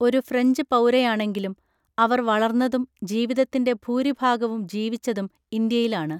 ഒരു ഫ്രഞ്ച് പൗരയാണെങ്കിലും അവർ വളർന്നതും ജീവിതത്തിൻ്റെ ഭൂരിഭാഗവും ജീവിച്ചതും ഇന്ത്യയിലാണ്.